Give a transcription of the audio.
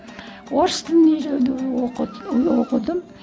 орыс тілін үйрену оқыдым